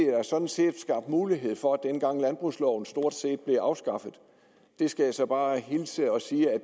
sådan set skabt mulighed for dengang landbrugsloven stort set blev afskaffet det skal jeg så bare hilse og sige at